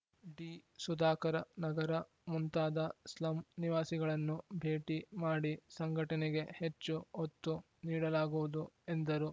ಡಿಸುಧಾಕರ ನಗರ ಮುಂತಾದ ಸ್ಲಂ ನಿವಾಸಿಗಳನ್ನು ಭೇಟಿ ಮಾಡಿ ಸಂಘಟನೆಗೆ ಹೆಚ್ಚು ಒತ್ತು ನೀಡುಲಾಗುವುದು ಎಂದರು